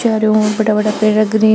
चारो और बड़ा बड़ा पेड़ लग रहे है।